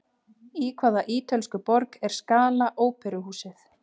Í hvaða ítölsku borg er Scala óperuhúsið?